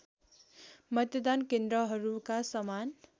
मतदान केन्द्रहरूका समान